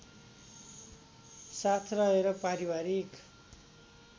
साथ रहेर पारिवारिक